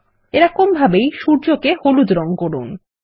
একইভাবে সূর্য কে হলুদ রঙ করুন